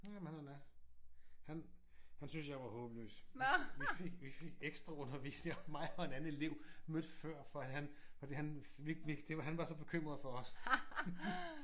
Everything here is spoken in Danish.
Jamen han er da. Han han syntes jeg var håbløs. Vi fik vi fik ekstraundervisning mig og en anden elev. Mødte før for han fordi han vi vi han det var han var så bekymret for os